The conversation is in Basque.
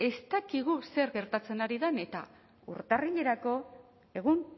ez dakigu zer gertatzen ari den eta urtarrilerako egun